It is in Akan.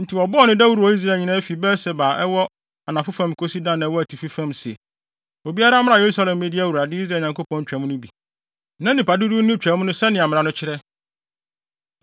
Enti wɔbɔɔ no dawuru wɔ Israel nyinaa fi Beer-Seba a ɛwɔ anafo fam kosi Dan a ɛwɔ atifi fam sɛ, obiara mmra Yerusalem mmedi Awurade, Israel Nyankopɔn Twam no bi. Na nnipa dodow nni Twam no sɛnea mmara no kyerɛ.